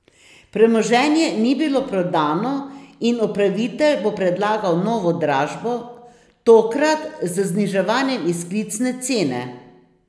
Premoženje ni bilo prodano in upravitelj bo predlagal novo dražbo, tokrat z zniževanjem izklicne cene.